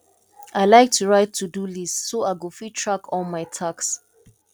i like to write todo list so i go fit track all my tasks